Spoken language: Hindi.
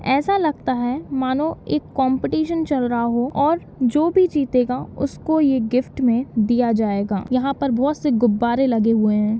ऐसा लगता है मानो एक कॉम्पटीशन चल रहा हो और जो भी जीतेगा उसको ये गिफ्ट मे दिया जाएगा। यहाँ पर बहोत से गुब्बारे लगे हुए हैं।